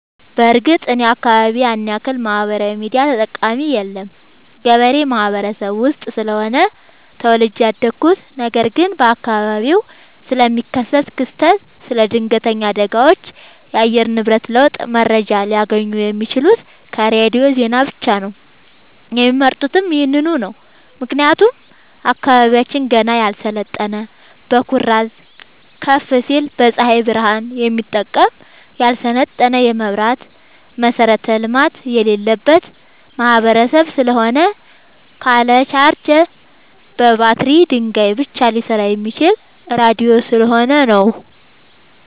በርግጥ እኔ አካባቢ ያንያክል ማህበራዊ ሚዲያ ተጠቀሚ የለም ገበሬ ማህበረሰብ ውስጥ ስለሆነ ተወልጄ ያደኩት ነገር ግን በአካባቢው ስለሚከሰት ክስተት ስለ ድነገተኛ አደጋዎች የአየር ንብረት ለውጥ መረጃ ሊያገኙ የሚችሉት ከሬዲዮ ዜና ብቻ ነው የሚመርጡትም ይህንኑ ነው ምክንያቱም አካባቢያችን ገና ያልሰለጠነ በኩራዝ ከፋሲል በፀሀይ ብረሃን የሚጠቀም ያልሰለጠነ የመብራት መሠረተ ልማት የሌለበት ማህበረሰብ ስለሆነ ካለ ቻርጀር በባትሪ ድንጋይ ብቻ ሊሰራ የሚችለው ራዲዮ ስለሆነ ነው።